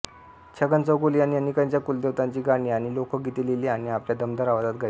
छगन चौगुले यांनी अनेकांच्या कुलदेवतांची गाणी आणि लोकगिते लिहिली आणि आपल्या दमदार आवाजात गायली